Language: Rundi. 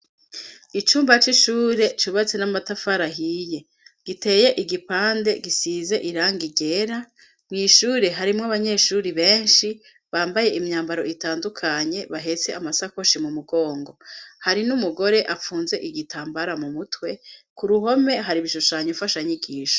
Icumba c'ishure cubatse n'amatafar' ahiye ,giteye igipande gisize irangi ryera, mw' ishure harimwo abanyeshuri benshi bambaye imyambaro itandukanye bahetse amasakoshi mu mugongo, hari n'umugore afunze igitambara mu mutwe, ku ruhome har'ibishushanyo nfasha nyigisho.